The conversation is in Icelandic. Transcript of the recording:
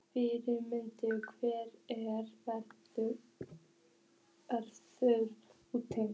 Friðfinnur, hvernig er veðrið úti?